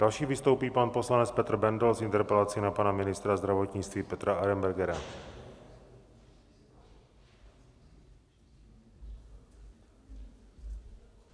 Další vystoupí pan poslanec Petr Bendl s interpelací na pana ministra zdravotnictví Petra Arenbergera.